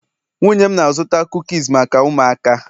nwunye m na-azụta kukis maka ụmụaka